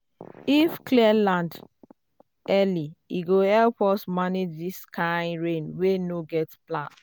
if we clear land early e go help us manage this kain rain wey no get plan.